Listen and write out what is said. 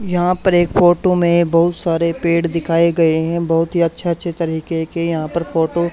यहां पर एक फोटो में बहुत सारे पेड़ दिखाएं गए हैं बहोत ही अच्छे-अच्छे तरीके के यहां पर फोटो --